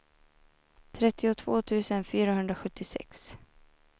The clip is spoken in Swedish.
trettiotvå tusen fyrahundrasjuttiosex